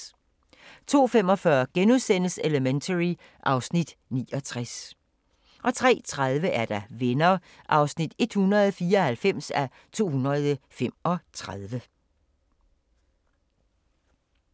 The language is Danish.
02:45: Elementary (Afs. 69)* 03:30: Venner (194:235)